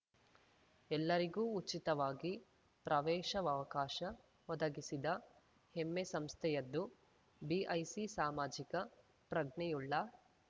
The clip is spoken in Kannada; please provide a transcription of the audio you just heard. ಎಲ್ಲರಿಗೂ ಉಚಿತವಾಗಿ ಪ್ರವೇಶಾವಕಾಶ ಒದಗಿಸಿದ ಹೆಮ್ಮೆ ಸಂಸ್ಥೆಯದ್ದು ಬಿಐಸಿ ಸಾಮಾಜಿಕ ಪ್ರಜ್ಞೆಯುಳ್ಳ